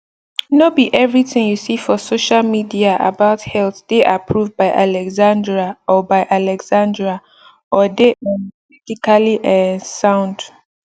no be everything you see for social media about health dey approved by alexandria or by alexandria or dey um medically um sound